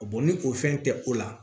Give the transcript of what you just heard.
ni o fɛn tɛ o la